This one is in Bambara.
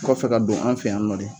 Kɔfɛ ka don an fɛ yan nɔ de.